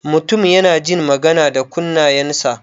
Mutum yana jin magana da kunnayan sa.